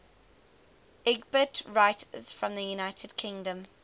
lgbt writers from the united kingdom